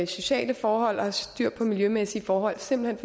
sociale forhold og have styr på miljømæssige forhold simpelt